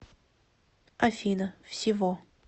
афина всего